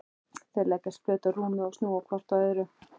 Þau leggjast flöt á rúmið og snúa hvort að öðru.